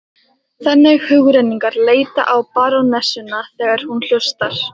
Þannig hugrenningar leita á barónessuna þegar hún hlustar.